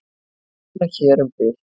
Svona hér um bil.